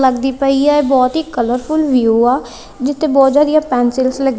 ਲੱਗਦੀ ਪਈ ਹੈ ਬੋਹਤ ਹੀ ਕਲਰਫੁਲ ਵਿਊ ਆ ਜਿੱਥੇ ਬੋਹਤ ਜਿਆਦਿਆਂ ਪੈਂਸਿਲਸ ਲੱਗੀ--